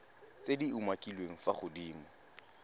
tse di umakiliweng fa godimo